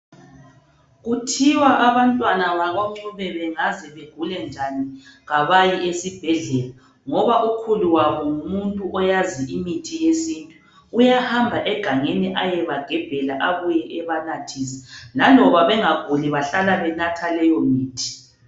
Kuthiwa abantwana bakoNcube bengaze begule njani kabayi esibhedlela ngoba ukhulu wabo ngumuntu oyazi imithi yesintu. Uyahamba egangeni ayebagebhela abuye ebanathise. Laloba bengaguli bahlala benatha leyo mithi.